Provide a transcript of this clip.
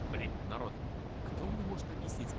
блять народ кто мне может объяснить